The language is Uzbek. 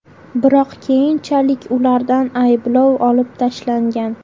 Biroq keyinchalik ulardan ayblov olib tashlangan.